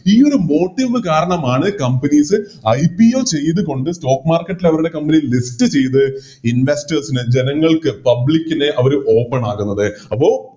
ഈയൊരു Motive കാരണമാണ് CompaniesIPO ചെയ്ത് കൊണ്ട് Stock market ൽ അവരുടെ Company list ചെയ്ത് Investors ന് ജനങ്ങൾക്ക് Public ന് അവര് Open ആകുന്നത്